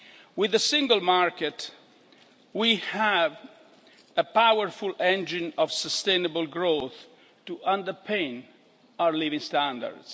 With the Single Market, we have a powerful engine of sustainable growth to underpin our living standards.